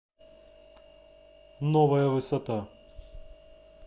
новая высота